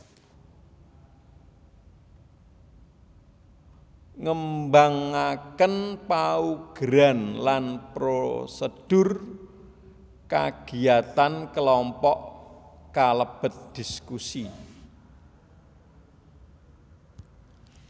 Ngembangaken paugeran lan prosedur kagiyatan kelompok kalebet dhiskusi